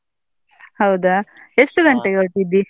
ಹೌದಾ ಎಷ್ಟು ಗಂಟೆಗೆ ಹೊರಟ್ಟಿದ್ದಿ?